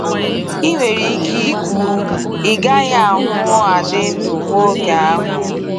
I nwere Ike ikwu, ịgahị ahụ adị ndụ hụụ oge ahụ.